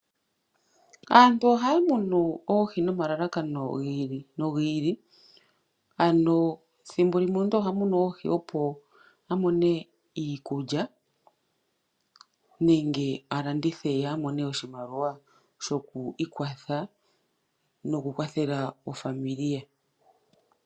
Aantu ohaa munu oohi nomalalakano gi ili nogi ili, ano thimbo limwe omuntu oha munu oohi opo a mone iikulya nenge a landithe ye a mone oshimaliwa shoku ikwatha noku kwathela aakwanezimo ye.